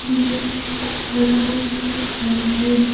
यह एक बड़ा सा घर है।